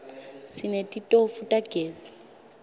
sinetitofu tagezi